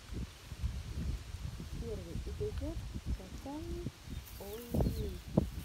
первый эпизод татаньйоллы